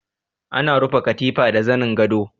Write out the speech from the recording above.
Ana rufe katifa da zanin gado.